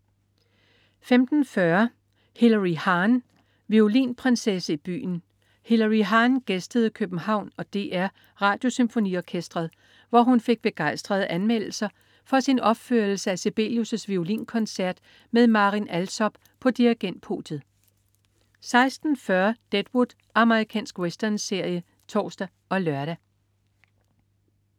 15.40 Hilary Hahn. Violinprinsesse i byen. Hilary Hahn gæstede København og DR Radiosymfoniorkestret, hvor hun fik begejstrede anmeldelser for sin opførelse af Sibelius' violinkoncert med Marin Alsop på dirigentpodiet 16.40 Deadwood. Amerikansk westernserie (tors og lør)